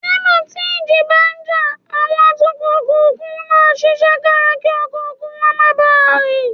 Nígbà tí ìjì bá ń jà, àwọn atukọ̀ òkun máa ń ṣiṣẹ́ kára kí ọkọ̀ òkun wọn má bàa rì